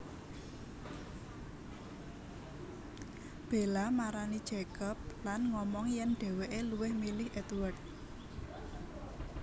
Bella marani Jacob lan ngomong yèn dhéwéké luwih milih Édward